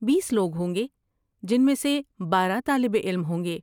بیس لوگ ہوں گے جن میں سے بارہ طالب علم ہوں گے۔